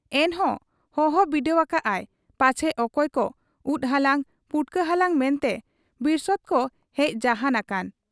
ᱮᱱᱦᱚᱸ ᱦᱚᱦᱚ ᱵᱤᱫᱟᱹᱣ ᱟᱠᱟᱜ ᱟᱭ ᱯᱟᱪᱷᱮ ᱚᱠᱚᱭ ᱠᱚ ᱩᱫ ᱦᱟᱞᱟᱝ, ᱯᱩᱴᱠᱟᱹ ᱦᱟᱞᱟᱝ ᱢᱮᱱᱛᱮ ᱵᱤᱨᱥᱮᱫ ᱠᱚ ᱦᱮᱡ ᱡᱟᱦᱟᱸᱱ ᱟᱠᱟᱱ ᱾